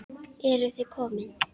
Eruð þið komin!